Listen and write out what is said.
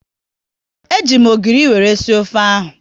E ji m ogiri wéré sie ofe ahu